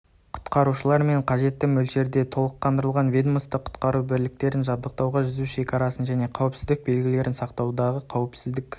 құтқарушылармен қажетті мөлшерде толықтырылған ведомствовалық құтқару бекеттерін жабдықтау жүзу шекарасын және қауіпсіздік белгілерін судағы қауіпсіздік